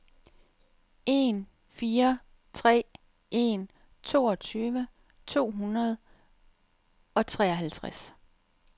en fire tre en toogtyve to hundrede og treoghalvtreds